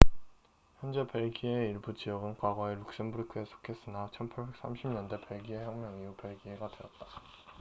현재 벨기에의 일부 지역은 과거에 룩셈부르크에 속했으나 1830년대 벨기에 혁명 이후 벨기에가 되었다